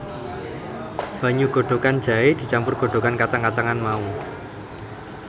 Banyu godhogan jahé dicampur godhogan kacang kacangan mau